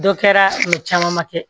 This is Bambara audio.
Dɔ kɛra o caman ma kɛ